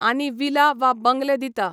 आनी विला वा बंगलें दिता.